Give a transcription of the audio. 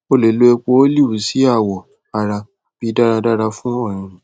o le lo epo olive si awọ ara bi daradara fun ọrinrin